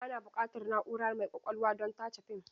Ana buƙatar na'ura mai ƙwaƙwalwa don tace fim.